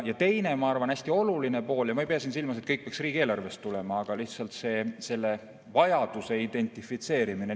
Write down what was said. Teine hästi oluline pool – ja ma ei pea silmas, et kõik peaks riigieelarvest tulema – on lihtsalt selle vajaduse identifitseerimine.